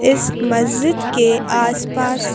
इस मस्जिद के आसपास--